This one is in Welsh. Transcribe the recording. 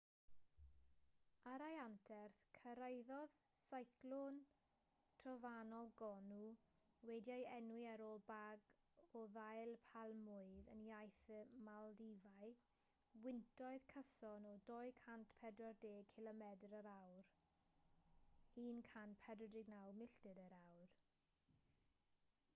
ar ei anterth cyrhaeddodd seiclon trofannol gonu wedi'i enwi ar ôl bag o ddail palmwydd yn iaith y maldifau wyntoedd cyson o 240 cilomedr yr awr 149 milltir yr awr